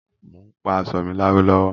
Mo ń pa aṣọ mi láró lọ́wọ́